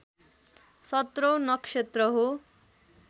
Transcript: सत्रौँ नक्षत्र हो